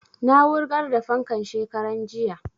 Na wurgar da fankan shekaran jiya